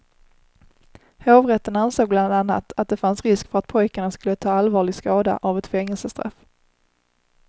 Hovrätten ansåg bland annat att det fanns risk för att pojkarna skulle ta allvarlig skada av ett fängelsestraff.